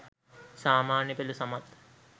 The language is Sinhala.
සාමාන්‍යපෙළ සමත්